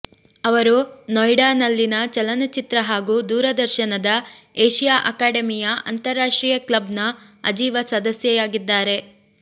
ಅವರು ನೊಯಿಡಾ ನಲ್ಲಿನ ಚಲನಚಿತ್ರ ಹಾಗೂ ದೂರದರ್ಶನದ ಏಷಿಯಾ ಅಕಾಡೆಮಿಯ ಅಂತರಾಷ್ಟ್ರೀಯ ಕ್ಲಬ್ ನ ಅಜೀವ ಸದಸ್ಯೆಯಾಗಿದ್ದಾರೆ